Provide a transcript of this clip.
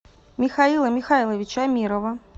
михаила михайловича амирова